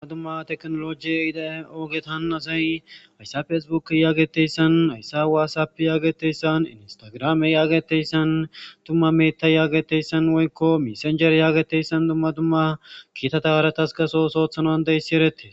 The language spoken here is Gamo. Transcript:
Dumma dumma teknoloje yida ogettan asay hayssappe facebooked giiza yagettayssan,hayssappe Whatsapp yagettayssan instagramme yagettayssan tumma metay woyko messengerre yagettayssan dumma dumma kittata haratas so ooso othanas danda'ssi erettes